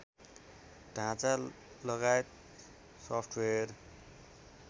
ढाँचा लगायत सफ्टवेर